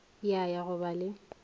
ya ya go ba le